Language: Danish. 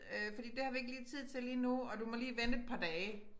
Øh fordi det har vi ikke lige tid til lige nu og du må lige vente et par dage